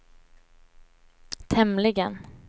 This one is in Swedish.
tämligen